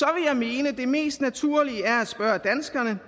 jeg mene at det mest naturlige er at spørge danskerne